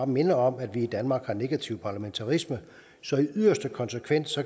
minde om at vi i danmark har negativ parlamentarisme så i yderste konsekvens